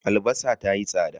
Albasa ta yi tsada.